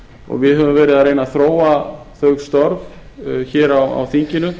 og við höfum verið að reyna að þróa þau störf á þinginu